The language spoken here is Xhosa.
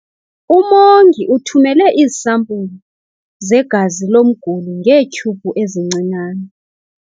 Umongi uthumele iisampulu zegazi lomguli ngeetyhubhu ezincinane.